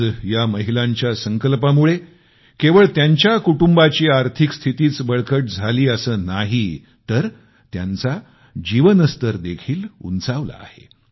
आज या महिलांच्या संकल्पामुळे त्यांच्या केवळ त्यांच्या कुटुंबाची आर्थिक स्थितीच बळकट झाली नाही तर जीवनस्तरही सुधारला आहे